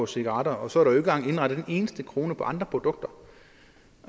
cigaretter og så er engang indregnet en eneste krone fra andre produkter